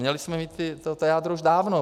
Měli jsme mít to jádro už dávno.